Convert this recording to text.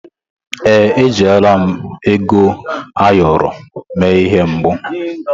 Èè, ejirila ego ayọrọ mee ihe mbụ.